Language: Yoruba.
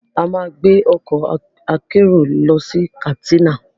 A máa gbé ọkọ̀ akérò lọ sí Katsina